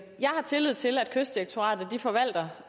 jeg har tillid til at kystdirektoratet forvalter